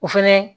O fɛnɛ